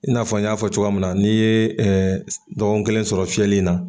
Ia n'a n y'a fɔ cogoya mun na n'i ye dɔgɔkun kelen sɔrɔ fiyɛli na.